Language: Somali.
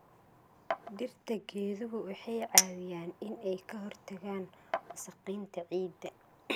Dhirta geeduhu waxay caawiyaan in ay ka hortagaan wasakheynta ciidda.